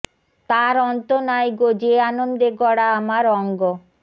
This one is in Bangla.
তার অন্ত নাই গো যে আনন্দে গড়া আমার অঙ্গ